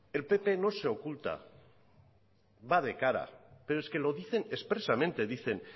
el pp no se oculta va de cara pero es que lo dicen expresamente dicen